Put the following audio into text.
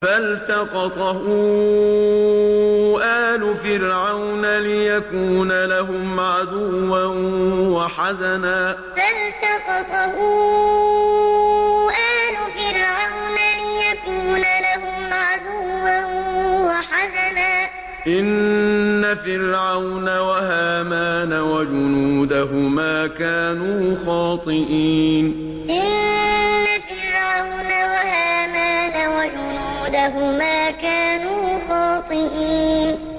فَالْتَقَطَهُ آلُ فِرْعَوْنَ لِيَكُونَ لَهُمْ عَدُوًّا وَحَزَنًا ۗ إِنَّ فِرْعَوْنَ وَهَامَانَ وَجُنُودَهُمَا كَانُوا خَاطِئِينَ فَالْتَقَطَهُ آلُ فِرْعَوْنَ لِيَكُونَ لَهُمْ عَدُوًّا وَحَزَنًا ۗ إِنَّ فِرْعَوْنَ وَهَامَانَ وَجُنُودَهُمَا كَانُوا خَاطِئِينَ